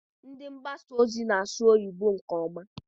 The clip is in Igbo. Ndị mgbasa ozi ma-asụ oyibo nke ọma.